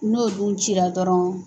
N'o dun cira dɔrɔn